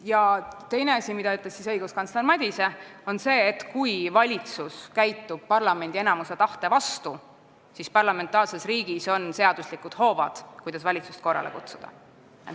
Ja teine asi, mida ütles õiguskantsler Madise, oli see, et kui valitsus käitub parlamendi enamuse tahte vastaselt, siis on parlamentaarses riigis seaduslikud hoovad, kuidas valitsust korrale kutsuda.